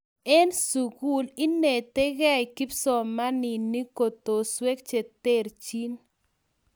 en sukul inetekei kipsomaninik kotoswek cheterchin